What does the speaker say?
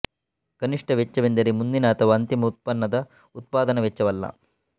ಕನಿಷ್ಠ ವೆಚ್ಚವೆಂದರೆ ಮುಂದಿನ ಅಥವಾ ಅಂತಿಮ ಉತ್ಪನ್ನದ ಉತ್ಪಾದನಾ ವೆಚ್ಚವಲ್ಲ